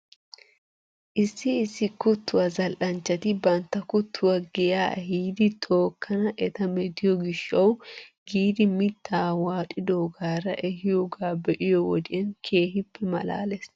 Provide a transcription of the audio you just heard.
Issi issi kuttuwaa zal'anchchati bantta kuttuwaa giyaa ehiidi tookkana eta metiyoo gishshaw giidi mittaa waaxidoogaara ehiyoogaa be'iyoo wodiyan keehippe malaales.